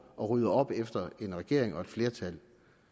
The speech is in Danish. at rydde op efter regeringen og et flertal